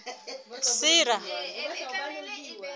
sera